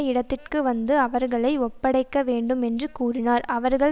இடத்திற்கு வந்து அவர்களை ஒப்படைக்க வேண்டும் என்று கூறினார் அவர்கள்